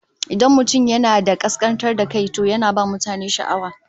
Idan mutum yana da kaskantar da kai, to yana ba mutane sha'awa